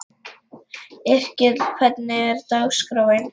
Yrkill, hvernig er dagskráin?